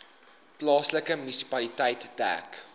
plaaslike munisipaliteit dek